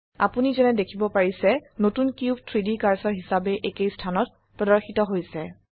আপোনি যেনে দেখিব পাৰিছে নতুন কিউব 3ডি কাৰ্সাৰ হিসাবে একেই স্থানত প্ৰদৰ্শিত হৈছে